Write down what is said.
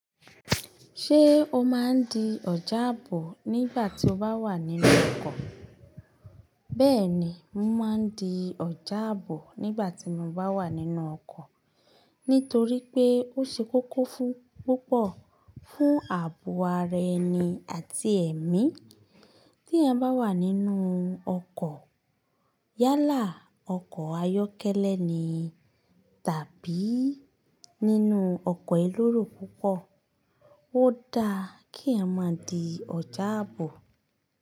Ṣé o máa ń di ọjà àbò nígbà tí o bá wà nínú ọkọ̀? Bẹ́ẹ̀ni, mo máa ń di ọjà àbò nígbà tí mo bá wà nínú ọkọ̀. Nítorí pé ó ṣe kókó fún púpọ̀ fún àbò ara ẹni àti ẹ̀mí. Te eyan bá wà nínú ọkọ̀, yálà ọkọ̀ ayọ́kẹ́lẹ́ ni tàbí nínú ọkọ̀ eleró púpọ̀, ó dáa kí eyan má di ọjà àbò.